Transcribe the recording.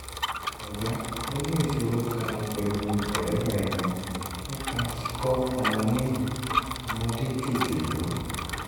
ọ̀gá mo ní ìṣòro kan pẹ̀lú ọ̀rẹ́bìnrin mi nípa kíkọ́ ọmọ ní ọmọdé jòjòló